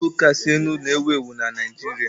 Nudulu kasị elu na-ewu ewu na Naijiria.